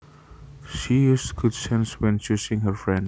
She uses good sense when choosing her friends